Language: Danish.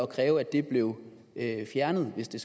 kræve at det blev fjernet hvis det